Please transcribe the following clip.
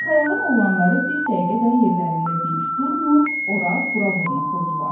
Qırxayağın oğlanları bir dəqiqə də yerlərində dinç durmur, ora-bura vurnuxurdular.